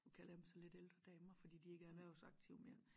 Nu kalder jeg dem så lidt ældre damer fordi de ikke er erhversaktive mere